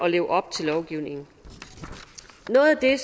at leve op til lovgivningen noget af det